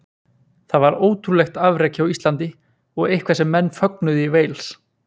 Það var ótrúlegt afrek hjá Íslandi og eitthvað sem menn fögnuðu í Wales.